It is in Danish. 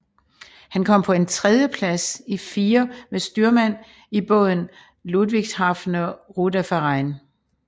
Han kom på en tredjeplads i firer med styrmand i båden Ludwigshafener Ruderverein